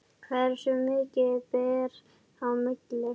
Hversu mikið ber á milli?